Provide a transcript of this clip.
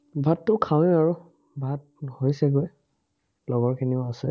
ভাততো খাওঁৱেই আৰু, ভাত হৈছে গৈ। লগৰখিনিও আছে।